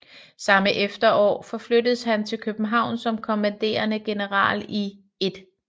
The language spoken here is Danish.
Samme efterår forflyttedes han til København som kommanderende general i 1